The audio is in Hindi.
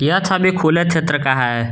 यह छवि खुले क्षेत्र का है।